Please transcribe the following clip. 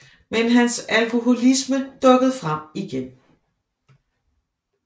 Men hans alkoholisme dukkede frem igen